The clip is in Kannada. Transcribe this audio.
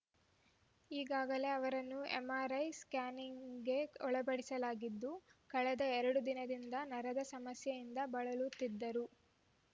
ಈಗಾಗಲೇ ಅವರನ್ನು ಎಂಆರ್‌ಐ ಸ್ಕ್ಯಾನಿಗೆಒಳಪಡಿಸಲಾಗಿದ್ದು ಕಳೆದ ಎರಡು ದಿನದಿಂದ ನರದ ಸಮಸ್ಯೆಯಿಂದ ಬಳಲುತ್ತಿದ್ದರು